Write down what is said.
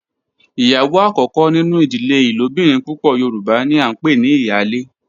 Iyawo akoko ninu idile ilobirin pupọ yoruba ni a npe ni iyale